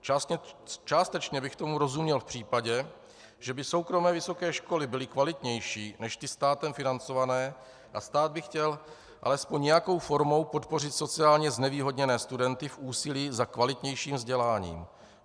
Částečně bych tomu rozuměl v případě, že by soukromé vysoké školy byly kvalitnější než ty státem financované a stát by chtěl alespoň nějakou formou podpořit sociálně znevýhodněné studenty v úsilí za kvalitnějším vzděláním.